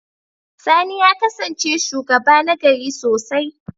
Sani ya kasance shugaba nagari sosai.